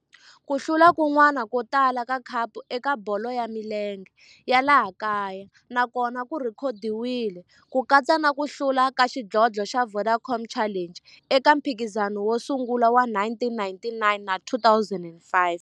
Ku hlula kun'wana ko tala ka khapu eka bolo ya milenge ya laha kaya na kona ku rhekhodiwile, ku katsa na ku hlula ka xidlodlo xa Vodacom Challenge eka mphikizano wo sungula wa 1999 na 2005.